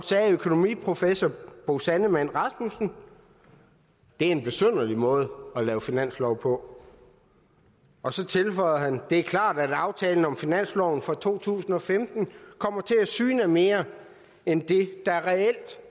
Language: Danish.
sagde økonomiprofessor bo sandemann rasmussen det er en besynderlig måde at lave finanslov på og så tilføjede han det er klart at aftalen om finansloven for to tusind og femten kommer til at syne af mere end det der reelt